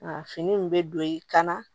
A fini in bɛ don yen ka na